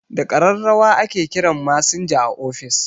Da ƙararrawa ake kiran masinja a office